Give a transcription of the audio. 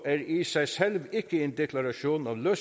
er i sig selv ikke en deklaration af